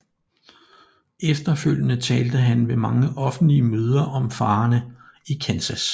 Efterfølgende talte han ved mange offentlige møder om farerne i Kansas